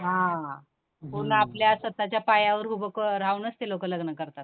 हं, हं पूर्ण आपल्या स्वतःच्या पायावर उभं क, राहूनच ते लोक लग्न करतात.